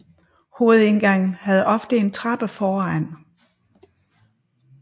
Hovedindgangen havde ofte en trappe foran